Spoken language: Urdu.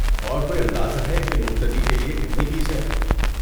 اور کوئی اندازہ ہے کہ مبتدی کے لیے کتنی فیس ہے؟